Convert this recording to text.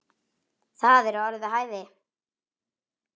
Það eru orð við hæfi.